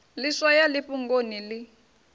ḽi swaya ḽi fhungoni ḽi